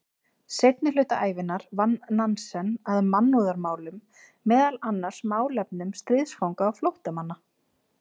Seinni hluta ævinnar vann Nansen að mannúðarmálum, meðal annars málefnum stríðsfanga og flóttamanna.